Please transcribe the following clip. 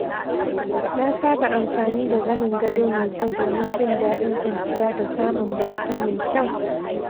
Na saba amfani da zanin gado mai kyau domin jin daɗin kwanciya da samun bacci mai kyau.